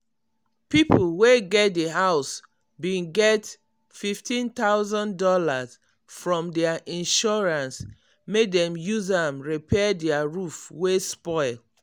people wey get the house bin get fifteen thousand dollarsfrom their insurance make dem use am repair their roof wey spoil.